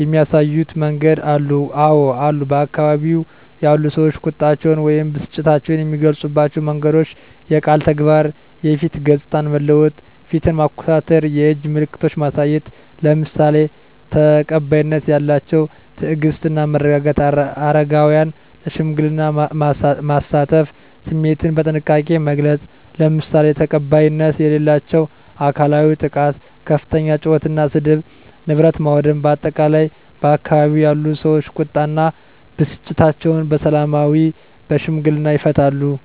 የሚያሳዩ መንገዶች አሉ? *አወ አሉ፦ በአካባቢው ያሉ ሰዎች ቁጣቸውን ወይም ብስጭታቸውን የሚገልጹባቸው መንገዶች፦ * የቃል ንግግር *የፊት ገጽታን መለወጥ (ፊትን ማኮሳተር)፣ *የእጅ ምልክቶችን ማሳየት፣ **ለምሳሌ፦ ተቀባይነት ያላቸው * ትዕግስት እና መረጋጋት: * አረጋውያንን ለሽምግልና ማሳተፍ።: * ስሜትን በጥንቃቄ መግለጽ: **ለምሳሌ፦ ተቀባይነት የሌላቸው * አካላዊ ጥቃት * ከፍተኛ ጩኸት እና ስድብ: * ንብረት ማውደም: በአጠቃላይ፣ ባካባቢው ያሉ ሰዎች ቁጣ እና ብስጭታቸውን በሰላማዊና በሽምግልና ይፈታሉ።